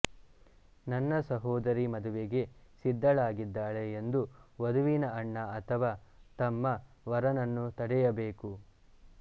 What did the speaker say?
ನನ್ನ ಸೋದರಿ ಮದುವೆಗೆ ಸಿದ್ದಳಾಗಿದ್ದಾಳೆ ಎಂದು ವಧುವಿನ ಅಣ್ಣ ಅಥವಾ ತಮ್ಮ ವರನನ್ನು ತಡೆಯಬೇಕು